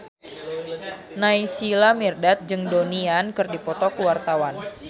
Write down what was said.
Naysila Mirdad jeung Donnie Yan keur dipoto ku wartawan